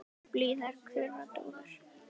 Blíðar kurra dúfur.